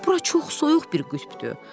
Bura çox soyuq bir qütbdür.